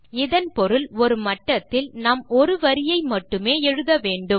இதன் பொருள் ஒரு மட்டத்தில் நாம் ஒரு வரியை மட்டுமே எழுத வேண்டும்